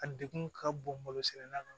A degun ka bon malo sɛnɛ na